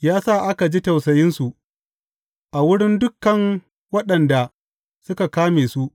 Ya sa aka ji tausayinsu a wurin dukan waɗanda suka kame su.